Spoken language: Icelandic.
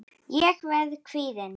Ég verð kvíðin.